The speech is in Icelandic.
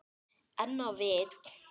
En á vit